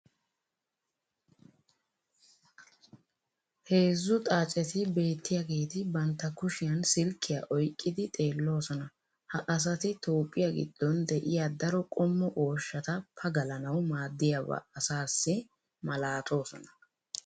heezzu xaacetti beettiyaageeti bantta kushiyan silkkiya oyqqidi xeeloosona. ha asati toophphiyaa giddon de'iya daro qommo ooshshata pagallanawu maadiyaaba asaassi malattoosona.